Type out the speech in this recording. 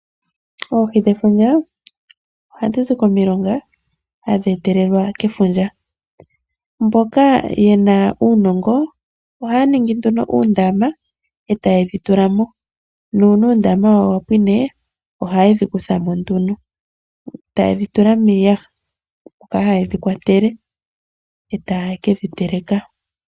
Oohi dhefundja ohadhi zi komilonga, hadhi etelelelwa kefundja. Mboka yena uunongo ohaya ningi nduno uundama eta yedhi tulamo, nuuna uundama wawo wapwine ohaye dhi kuthamo nduno, taye dhitula miiyaha moka tayedhi kwatele, eta ye kedhi teleka.